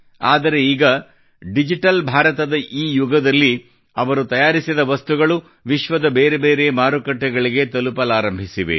ಆದರೆ ಈಗ ಡಿಜಿಟಲ್ ಭಾರತದ ಈ ಯುಗದಲ್ಲಿ ಅವರು ತಯಾರಿಸಿದ ವಸ್ತುಗಳು ವಿಶ್ವದ ಬೇರೆ ಬೇರೆ ಮಾರುಕಟ್ಟೆಗಳಿಗೆ ತಲುಪಲಾರಂಭಿಸಿವೆ